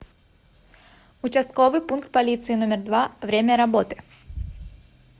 участковый пункт полиции номер два время работы